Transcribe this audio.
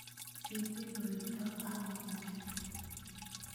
Kikiroitoi ano miani?